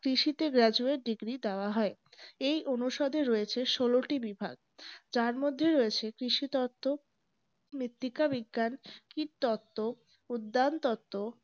কৃষিতে graduate degree দেওয়া হয় এই অনুসারে রয়েছে সলো টি বিভাগ যার মধ্যে রয়েছে কৃষি তত্ত্ব মৃত্তিকা বিজ্ঞান কৃতত্ব উদ্যান তত্ত্ব